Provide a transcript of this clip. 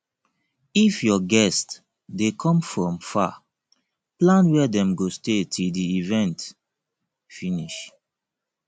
if your guests de come from far plan where dem go stay till di event finish